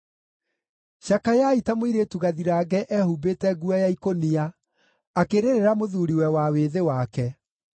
Cakayai ta mũirĩtu gathirange ehumbĩte nguo ya ikũnia, akĩrĩrĩra mũthuuriwe wa wĩthĩ wake.